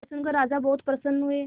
यह सुनकर राजा बहुत प्रसन्न हुए